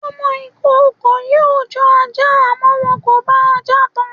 Ọmọ ìkookò yóò jọ ajá, àmọ́ wọn kò bá ajá tan.